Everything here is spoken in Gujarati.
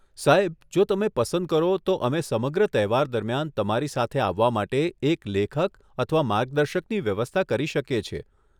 સાહેબ, જો તમે પસંદ કરો, તો અમે સમગ્ર તહેવાર દરમિયાન તમારી સાથે આવવા માટે એક લેખક અથવા માર્ગદર્શકની વ્યવસ્થા કરી શકીએ છીએ.